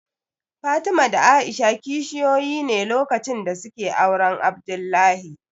Fatima da A'isha kishiyoyi ne lokacin da suke auren Abdullahi